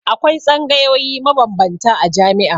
Akwai tsangayoyi mabambanta a jami'a.